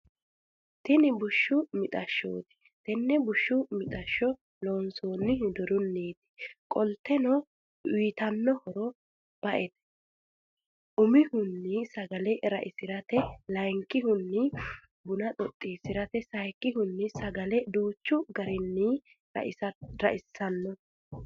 Tinni bushshu mixashshoti tenne bushshu mixashsho loonsonihu doruniti qoliteno uyiitano horro ba'ete umihuni sagale ra'isirate layikihuni Buna xoxisirate sayiikihuni sagale danchu garrini ra'sanno.